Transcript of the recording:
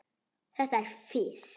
Þetta er fis.